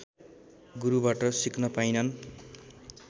गुरुबाट सिक्न पाइनन्